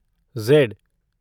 Z